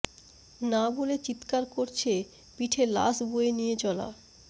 না বলে চিত্কার করছে পিঠে লাশ বয়ে নিয়ে চলা